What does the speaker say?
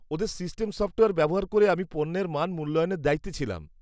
-ওদের system software ব্যবহার করে আমি পণ্যের মান মূল্যায়নের দায়িত্বে ছিলাম।